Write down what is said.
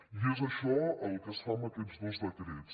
i és això el que es fa amb aquests dos decrets